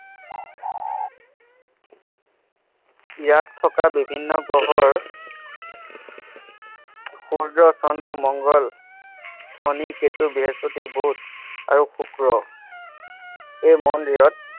ইয়াত থকা বিভিন্ন গ্ৰহৰ সূৰ্য্য, চন্দ্ৰ, মংগল, শনি, কেতু, বৃহস্পতি, বুধ আৰু শুক্ৰ এই মন্দিৰত